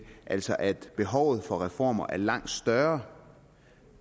altså at behovet for reformer er langt større